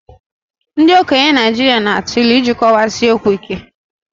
Ndị okenye Naijiria na atụ ilu iji kọwaa si okwu ike